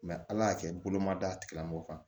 ala y'a kɛ bolomada tigilamɔgɔ kan